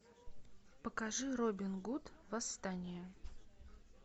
покажи робин гуд восстание